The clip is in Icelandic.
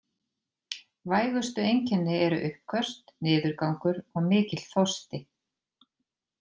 Vægustu einkenni eru uppköst, niðurgangur og mikill þorsti.